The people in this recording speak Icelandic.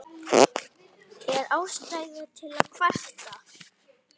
Er ástæða til að kvarta?